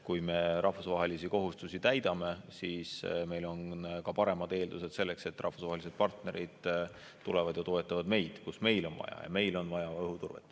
Kui me rahvusvahelisi kohustusi täidame, siis meil on ka paremad eeldused selleks, et rahvusvahelised partnerid tulevad ja toetavad meid, kus meil on vaja, ja meil on vaja õhuturvet.